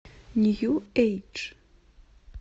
нью эйдж